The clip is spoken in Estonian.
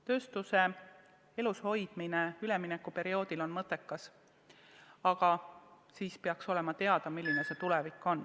Tööstuse elus hoidmine üleminekuperioodil on mõttekas, aga seejuures peaks olema teada, milline on tulevik.